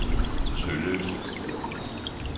Tølløse